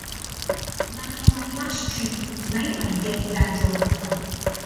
na for my last trip na im i get dat job offer